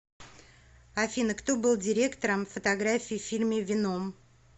афина кто был директором фотографии в фильме веном